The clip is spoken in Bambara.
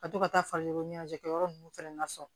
Ka to ka taa faliw ɲɛnajɛ kɛ yɔrɔ nunnu fɛnɛ na so